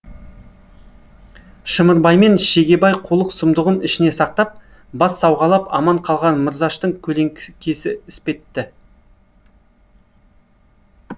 шымырбаймен шегебай қулық сұмдығын ішіне сақтап бас сауғалап аман қалған мырзаштың көлеңкесі іспетті